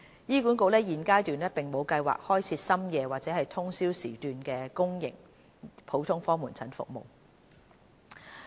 醫管局現階段並無計劃開設深夜或通宵時段的公營普通科門診服務。